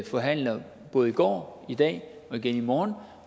forhandler både i går i dag og igen i morgen